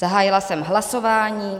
Zahájila jsem hlasování.